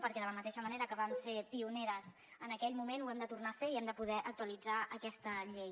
perquè de la mateixa manera que vam ser pioneres en aquell moment ho hem de tornar a ser i hem de poder actualitzar aquesta llei